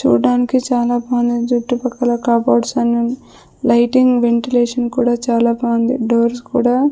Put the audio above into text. చూడటానికి చాలా బాగుంది జుట్టు పక్కల కబోర్డ్స్ అన్ని ఉన్న లైటింగ్ వెంటిలేషన్ కూడా చాలా బాగుంది డోర్స్ కూడా --